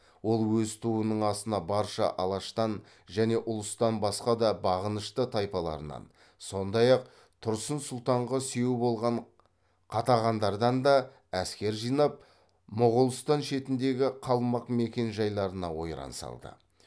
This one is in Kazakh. ол өз туының астына барша алаштан және ұлыстан басқа да бағынышты тайпаларынан сондай ақ тұрсын сұлтанға сүйеу болған қатағандардан да әскер жинап моғолстан шетіндегі қалмақ мекен жайларына ойран салды